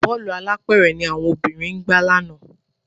Bọ́ọ̀lù alápẹ̀rẹ̀ ni àwọn obìnrin gbá lánàá